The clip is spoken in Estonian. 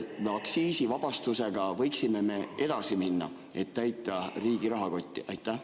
Kas me aktsiisivabastusega võiksime edasi minna, et täita riigi rahakotti?